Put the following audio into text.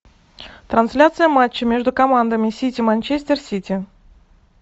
трансляция матча между командами сити манчестер сити